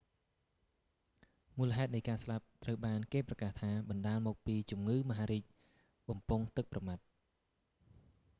មូលហេតុនៃការស្លាប់ត្រូវបានគេប្រកាសថា បណ្តាលមកពីជំងឺមហារីកបំពង់ទឹកប្រមាត់